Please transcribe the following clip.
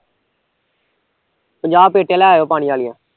ਪੰਜਾਹ ਪੇਟੀਆਂ ਲੈ ਆਈਓ ਪਾਣੀ ਆਲੀਆਂ